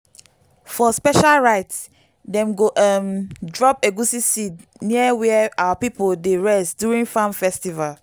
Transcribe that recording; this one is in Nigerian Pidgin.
for special rites dem go um drop egusi seed near where our people dey rest during farm festival.